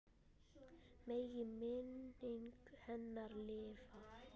Megi minning hennar lifa.